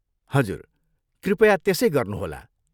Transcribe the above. हजुर, कृपया त्यसै गर्नुहोला।